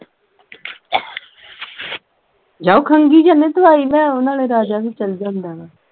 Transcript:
ਜਾਉ ਖੰਗੀ ਜਾਨਾ ਐ ਦਵਾਈ ਲੈ ਆਓ ਨਾਲੇ ਰਾਜਾ ਵੀ ਚਲ ਜਾਂਦਾ ਨਾਲ